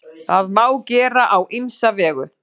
Það má gera á ýmsa vegu.